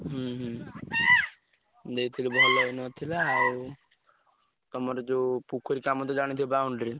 ହୁଁ ହୁଁ ଦେଇଥିଲୁ ଭଲ ହେଇନଥିଲା ଆଉ ତମର ଯଉ ପୋଖରୀ କାମ ତ ଜାଣିଥିବ boundary ,